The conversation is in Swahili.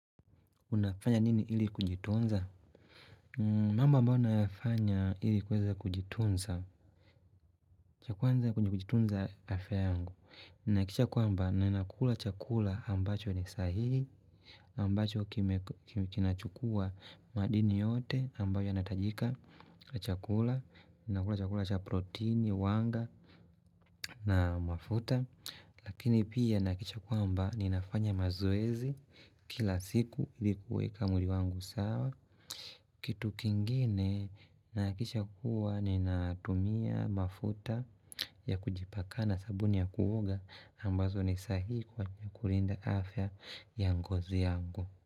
Unafanya nini ili kujitunza? Mamba ambayo nayafanya ili kuweza kujitunza cha kwanza kwenye kujitunza, afya yangu. Ninahakikisha kwamba ninakula chakula ambacho ni sahihi. Ambacho kinachukua madini yote ambayo yanahitajika. Chakula. Nakula chakula cha protini, wanga na mafuta. Lakini pia nahakikisha kwamba ninafanya mazoezi kila siku ili kuweka mwili wangu sawa. Kitu kingine nahakikisha kuwa ninatumia mafuta ya kujipaka na sabuni ya kuoga ambazo ni sahihi kwa kulinda afya ya ngozi yangu.